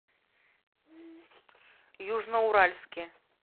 южноуральске